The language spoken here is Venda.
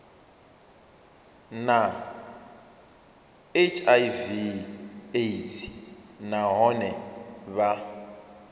na hiv aids nahone vha